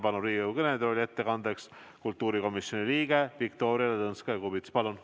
Palun Riigikogu kõnetooli ettekandeks kultuurikomisjoni liikme Viktoria Ladõnskaja-Kubitsa!